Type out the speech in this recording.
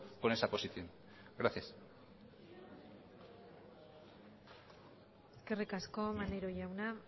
con esa posición gracias eskerrik asko maneiro jauna